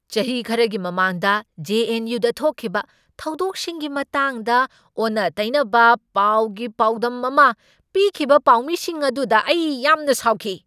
ꯆꯍꯤ ꯈꯔꯒꯤ ꯃꯃꯥꯡꯗ ꯖꯦ. ꯑꯦꯟ. ꯌꯨ. ꯗ ꯊꯣꯛꯈꯤꯕ ꯊꯧꯗꯣꯛꯁꯤꯡꯒꯤ ꯃꯇꯥꯡꯗ ꯑꯣꯟꯅ ꯇꯩꯅꯕ ꯄꯥꯎꯒꯤ ꯄꯥꯎꯗꯝ ꯑꯃ ꯄꯤꯈꯤꯕ ꯄꯥꯎꯃꯤꯁꯤꯡ ꯑꯗꯨꯗ ꯑꯩ ꯌꯥꯝꯅ ꯁꯥꯎꯈꯤ꯫